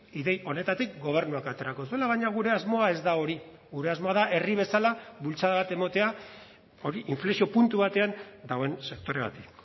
ideia honetatik gobernuak aterako zuela baina gure asmoa ez da hori gure asmoa da herri bezala bultzada bat ematea hori inflexio puntu batean dagoen sektore bati